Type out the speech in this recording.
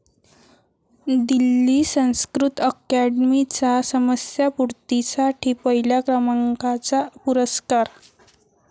दिल्ली संस्कृत अकॅडमीचा समस्यापूर्तीसाठी पहिल्या क्रमांकाचा पुरस्कार